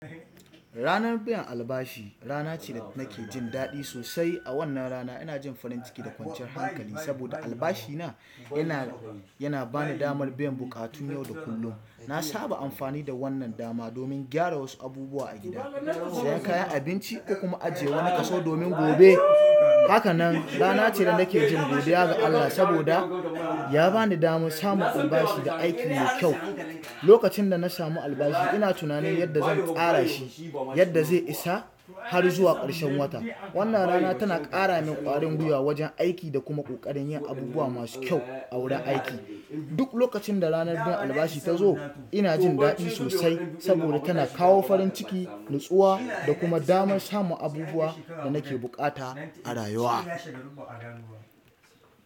Ranar biyan albashi rana ce da nake jin daɗi sosai. A wannan rana ina jin farin ciki da kwanciyar hankali saboda albashina yana, yana ba ni damar biyan buƙatun yau da kullum. Na saba amfani da wannan dama domin gyara wasu abubuwa a gida, sayan kayan abinci da kuma ajiye wani kaso domin gobe. Hakanan rana ce da nake jin godiya ga Allah saboda ya ba ni damar samun albashi da aiki mai kyau. Lokacin da na samu albashi ina tunanin yadda zan tsara shi, yadda zai isa har zuwa ƙarshen wata. Wannan rana tana ƙara min ƙwarin gwiwa wajen aiki da kuma ƙoƙarin yin abubuwa masu kyau a wurin aiki. Duk lokacin da ranar biyan albashi tazo ina jin daɗi sosai saboda tana kawo farin ciki nutsuwa da kuma da kuma damar samun abubuwa da nake buƙata a rayuwa.